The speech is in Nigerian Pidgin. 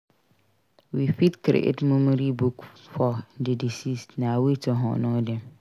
We fit create memory book for di deceased; na way to honor dem.